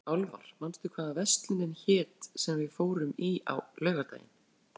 Álfar, manstu hvað verslunin hét sem við fórum í á laugardaginn?